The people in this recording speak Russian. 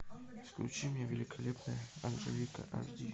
включи мне великолепная анжелика аш ди